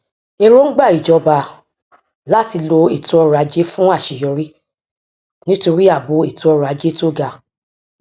èròǹgbà ìjọba láti lo ètò ọrọajé fún àṣeyọrí nítorí ààbò ètò ọrọajé tó ga